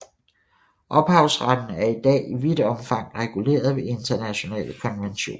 Ophavsretten er i dag i vidt omfang reguleret ved internationale konventioner